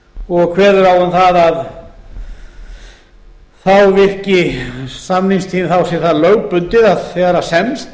og kveður á um að þá sé það lögbundið að þegar semst